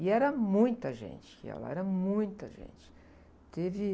E era muita gente que ia lá, era muita gente. Teve...